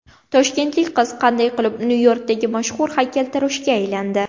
Toshkentlik qiz qanday qilib Nyu-Yorkdagi mashhur haykaltaroshga aylandi ?